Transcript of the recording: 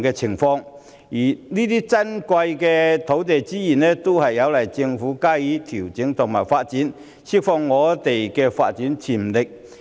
這些珍貴的土地資源需要政府加以調整和發展，從而釋放發展潛力。